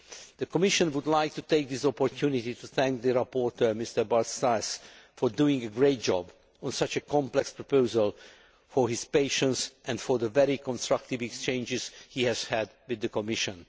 The Commission would like to take this opportunity to thank the rapporteur, Bart Staes, for doing a great job on such a complex proposal, for his patience and for the very constructive exchanges he has had with the Commission.